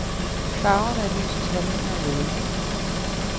Farverne er lysets handlinger og ledelse.